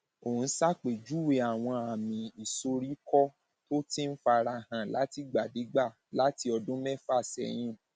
ò ń ṣàpèjúwe àwọn àmì ìsoríkọ tó ti ń fara hàn látìgbàdégbà láti ọdún mẹfà sẹyìn